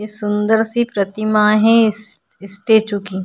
इ सुंदर सी प्रतिमा है इस इस स्टैचू की --